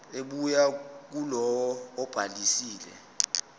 ebuya kulowo obhalisile